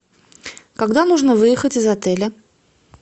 когда нужно выехать из отеля